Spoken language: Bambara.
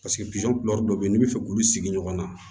Paseke dɔ bɛ yen n'i bɛ fɛ k'olu sigi ɲɔgɔn na